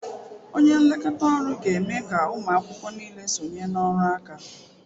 Onye nlekọta ọrụ ga-eme ka ụmụ akwụkwọ niile sonye na ọrụ aka